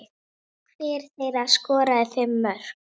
Hver þeirra skoraði fimm mörk.